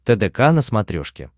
тдк на смотрешке